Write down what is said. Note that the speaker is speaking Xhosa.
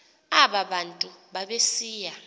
aba bantu babesiya